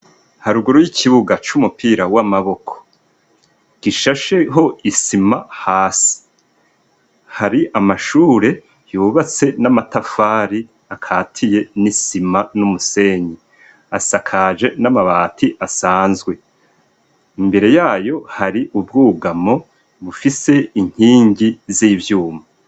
Haruguru y'ikibuga c'umupira w'amaboko, gishasheho isima hasi, hari amashure yubatse n'amatafari akatiye n'isima n'umusenyi. Asakaje n'amabati asanzwe. Imbere ya yo hari ubwugamo bufise inkingi z'ivyuma.